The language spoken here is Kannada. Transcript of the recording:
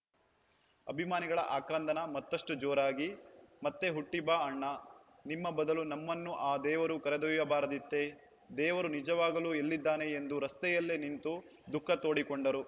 ಅಭಿಮಾನಿಗಳ ಆಕ್ರಂದನ ಮತ್ತಷ್ಟುಜೋರಾಗಿ ಮತ್ತೆ ಹುಟ್ಟಿಬಾ ಅಣ್ಣ ನಿಮ್ಮ ಬದಲು ನಮ್ಮನ್ನು ಆ ದೇವರು ಕರೆದೊಯ್ಯಬಾರದಿತ್ತೇ ದೇವರು ನಿಜವಾಗಲೂ ಎಲ್ಲಿದ್ದಾನೆ ಎಂದು ರಸ್ತೆಯಲ್ಲೇ ನಿಂತು ದುಃಖ ತೋಡಿಕೊಂಡರು